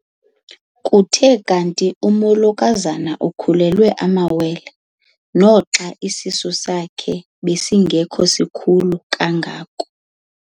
Kuthe kanti umolokazana ukhulelwe amawele naxa isisu sakhe besingesikhulu kangako.